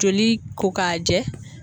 Joli ko ka jɛ